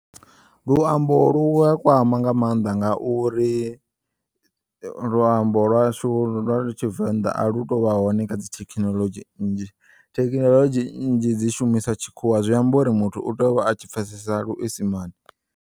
Luambo lu a kwama nga maanḓa ngauri luambo lwashu lwa tshivenḓa alu tovha hone kha dzi thekinolodzhi nnzhi thekinolodzhi nnzhi dzi shumisa tshikhuwa zwi amba uri muthu u teya u vha a tshipfesesa luisimane.